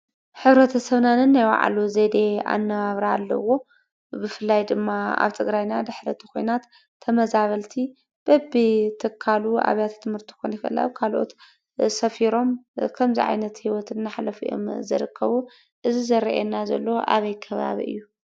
ሕብረተሰብና ነናይ ባዕሉ ዘዴ ኣነባብራ ኣለዎ፡፡ ብፍላይ ድማ ኣብ ትግራይና ድሕሪ እቲ ኲናት ተመዛበልቲ በብትካሉ ኣብያተ ትምህርቲ ክኾኑ ይኽእሉ፣ ኣብ ካልኦት ሰፊሮም ከምዚ ዓይነት ህይወት እናሕለፉ እዮም ዝርከቡ፡፡ እዚ ዝርአየና ዘሎ ኣበይ ከባቢ እዩ ?